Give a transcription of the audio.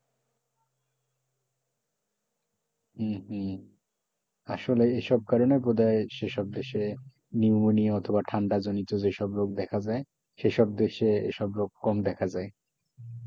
হম হম আসলে এইসব করে করেনা বোধহয় সে সব দেশে নিউমোনিয়া অথবা ঠান্ডা জনিত যে সব রোগ দেখা যায় সে সব দেশে এসব রোগ কম দেখা যায়,